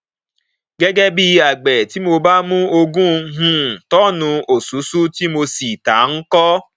gẹgẹ bí agbẹ tí mo bá mú ogún um tọn òṣùṣú tí mo sì tà á nko